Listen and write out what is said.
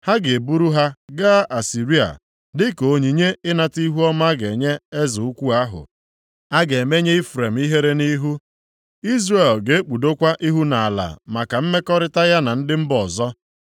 Ha ga-eburu ha gaa Asịrịa, dịka onyinye ịnata ihuọma a ga-enye eze ukwu ahụ. A ga-emenye Ifrem ihere nʼihu, Izrel ga-ekpudokwa ihu nʼala maka mmekọrịta ya na ndị mba ọzọ.